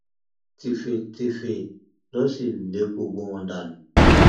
tẹfẹtìfẹ ló sì lé gbogbo wọn dànù